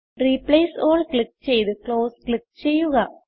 replace all click ചെയ്ത് close click ചെയ്യുക